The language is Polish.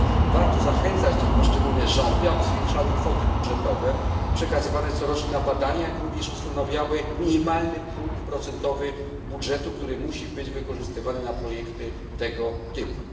Warto zachęcać też poszczególne rządy, aby zwiększały kwoty budżetowe przekazywane corocznie na badania, jak również ustanawiały minimalny próg procentowy budżetu, który musi być wykorzystywany na projekty tego typu.